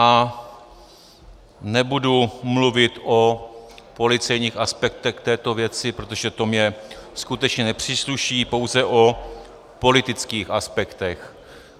A nebudu mluvit o policejních aspektech této věci, protože to mně skutečně nepřísluší, pouze o politických aspektech.